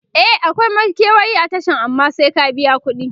e akwai makewayi a Tashan amma sai ka biya kudi